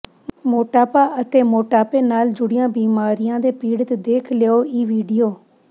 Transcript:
ਮੋਟਾਪਾ ਅਤੇ ਮੋਟਾਪੇ ਨਾਲ ਜੁੜੀਆਂ ਬਿਮਾਰੀਆਂ ਦੇ ਪੀੜਤ ਦੇਖ ਲਓ ਇਹ ਵੀਡੀਓ